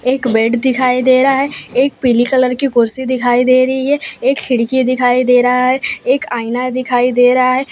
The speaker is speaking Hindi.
एक बेड दिखाई दे रहा है एक पीली कलर की कुर्सी दिखाई दे रही है एक खिड़की दिखाई दे रहा है एक आईना दिखाई दे रहा हैं।